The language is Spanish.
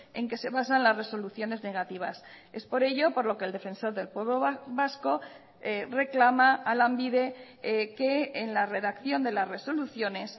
en que se basan las resoluciones negativas es por ello por lo que el defensor del pueblo vasco reclama a lanbide que en la redacción de las resoluciones